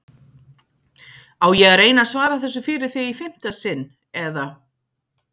Á ég að reyna að svara þessu fyrir þig í fimmta sinn, eða?